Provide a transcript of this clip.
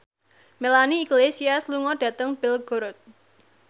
Melanie Iglesias lunga dhateng Belgorod